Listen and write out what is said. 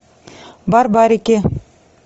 барбарики